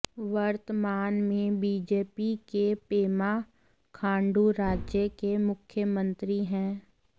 वर्तमान में बीजेपी के पेमा खांडू राज्य के मुख्यमंत्री हैं